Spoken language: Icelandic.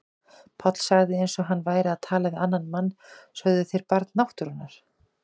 Páll sagði eins og hann væri að tala við annan mann: Sögðuð þér Barn náttúrunnar?